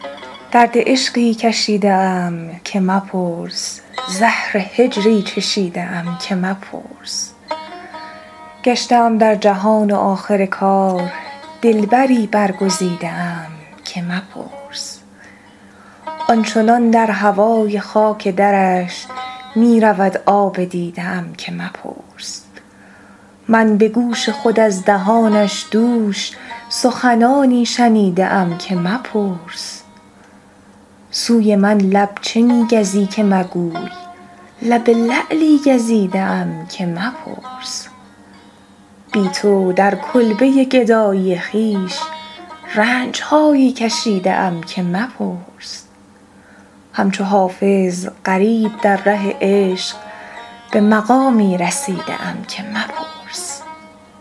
درد عشقی کشیده ام که مپرس زهر هجری چشیده ام که مپرس گشته ام در جهان و آخر کار دلبری برگزیده ام که مپرس آن چنان در هوای خاک درش می رود آب دیده ام که مپرس من به گوش خود از دهانش دوش سخنانی شنیده ام که مپرس سوی من لب چه می گزی که مگوی لب لعلی گزیده ام که مپرس بی تو در کلبه گدایی خویش رنج هایی کشیده ام که مپرس همچو حافظ غریب در ره عشق به مقامی رسیده ام که مپرس